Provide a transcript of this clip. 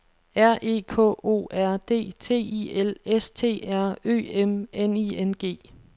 R E K O R D T I L S T R Ø M N I N G